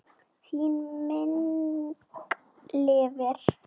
Þín minning lifir.